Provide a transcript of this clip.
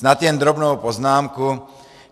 Snad jen drobnou poznámku.